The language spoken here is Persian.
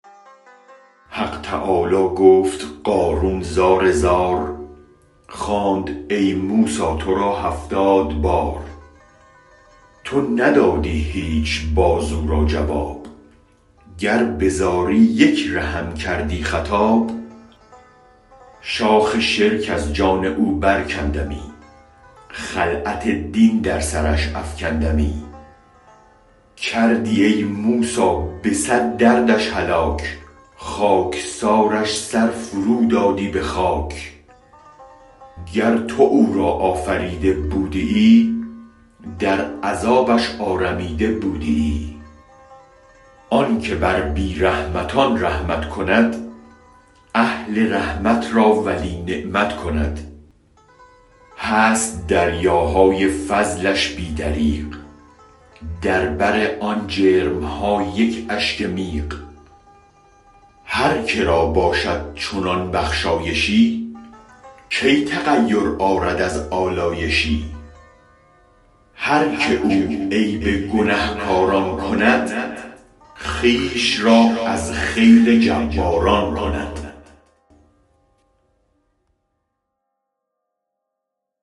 حق تعالی گفت قارون زار زار خواند ای موسی ترا هفتاد بار تو ندادی هیچ باز او را جواب گر بزاری یک رهم کردی خطاب شاخ شرک از جان او برکندمی خلعت دین در سرش افکندمی کردی ای موسی به صد دردش هلاک خاکسارش سر فرودادی به خاک گر تو او را آفریده بودیی در عذابش آرمیده بودیی آنک بر بی رحمتان رحمت کند اهل رحمت را ولی نعمت کند هست دریاهای فضلش بی دریغ در بر آن جرمها یک اشک میغ هرک را باشد چنان بخشایشی کی تغیر آرد از آلایشی هرک او عیب گنه کاران کند خویش را از خیل جباران کند